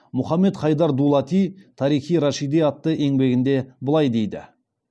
мұхаммед хайдар дулати тарих и рашиди атты еңбегінде былай дейді